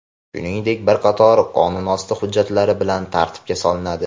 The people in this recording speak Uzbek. shuningdek bir qator qonunosti hujjatlari bilan tartibga solinadi.